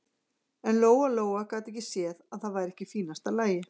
En Lóa-Lóa gat ekki séð að það væri ekki í fínasta lagi.